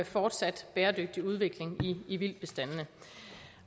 fortsat bæredygtig udvikling i vildtbestanden